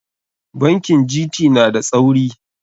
Bankin GT na da tsauri.